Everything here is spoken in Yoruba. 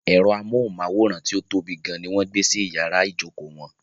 Ẹ̀rọ amóhùnmáwòrán tí ó tóbi gan ní wọ́n gbé sí iyàrá ìjókò wọn.